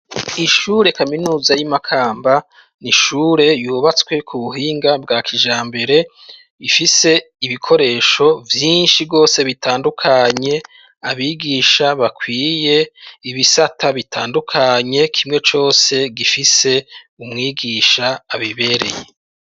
Ishure kaminuza y'i Makamba ni ishure yubatswe ku buhinga bwa kijambere ifise ibikoresho vyinshi rwose bitandukanye abigisha bakwiye, ibisata bitandukanye kimwe cose gifise umwigisha abibereye.